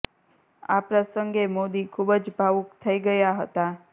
આ પ્રસંગે મોદી ખુબ જ ભાવુક થઇ ગયા હતા